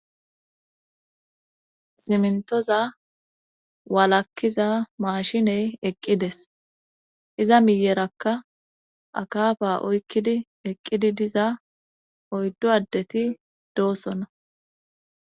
simntoza waalakkiza maashiney eqqides iza miyerakka akaafa oykkidi eqqidi diza oyddo addeti doosona